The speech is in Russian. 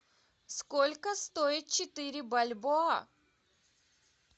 сколько стоит четыре бальбоа